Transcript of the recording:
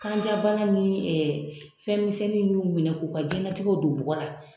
Kanjabana ni fɛnmisɛnnin minnu minɛ k'u ka jɛnnatigɛw don bɔgɔ la.